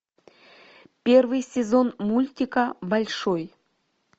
первый сезон мультика большой